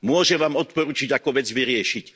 Môžem vám odporučiť, ako vec vyriešiť.